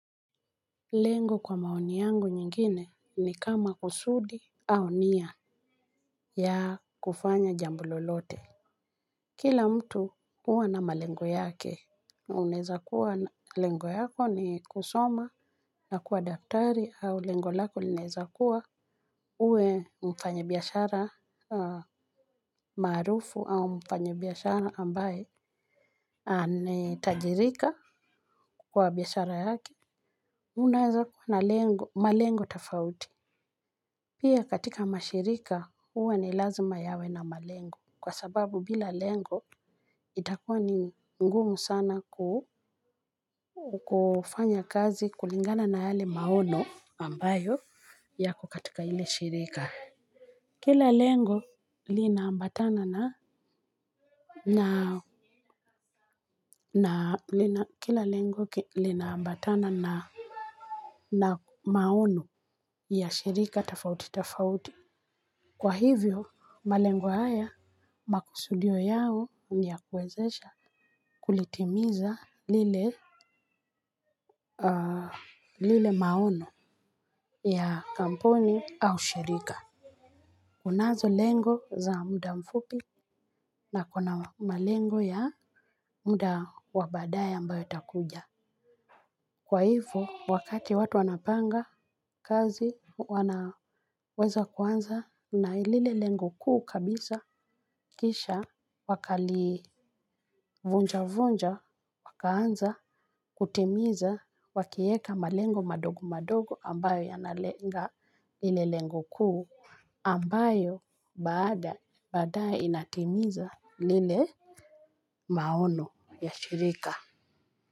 Lengo kwa maoni yangu nyingine ni kama kusudi au nia ya kufanya jambo lolote. Kila mtu uwa na malengo yake unaweza kuwa lengo yako ni kusoma na kuwa daktari au lengo lako linaweza kuwa uwe mfanya biyashara marufu au mfanyi biashara ambaye ametajirika kwa biashara yake. Unaeza kuwa na malengo tafauti. Pia katika mashirika uwa ni lazima yawe na malengo. Kwa sababu bila lengo itakuwa ni ngumu sana kufanya kazi kulingana na yale maono ambayo yako katika hile shirika. Kila lengo linaambatana na na na kila lengo linaambatana na na maono ya shirika tafauti tafauti. Kwa hivyo malengo haya makusudio yao niya kuwezesha kulitimiza lile maono ya kampuni au shirika. Kunazo lengo za muda mfupi na kuna malengo ya muda wa badae ambayo itakuja. Kwa hivyo wakati watu wanapanga kazi wanaweza kuanza na lile lengo kuu kabisa kisha wakalii. Vunja vunja wakaanza kutimiza wakieka malengo madogo madogo ambayo yanalenga lile lengo kuu ambayo bada badae inatimiza lile maono ya shirika.